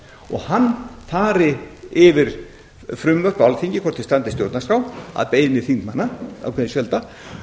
og hann fari yfir frumvörp á alþingi hvort þau standist stjórnarskrá að beiðni þingmanna ákveðins fjölda